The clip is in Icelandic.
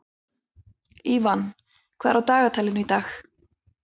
Ívan, hvað er á dagatalinu í dag?